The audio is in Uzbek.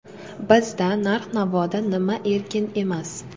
Bizda narx-navoda nima erkin emas?